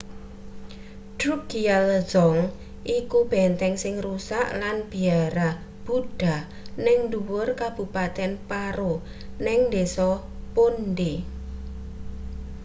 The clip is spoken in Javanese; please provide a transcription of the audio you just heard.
drukgyal dzong iku benteng sing rusak lan biara buddha ning ndhuwur kabupaten paro ning desa phondey